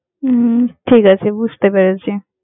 হম ঠিক আছে, বুঝতে পেরেছি।